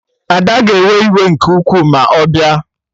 Ada ga-ewe iwe nke ukwuu ma ọ bịa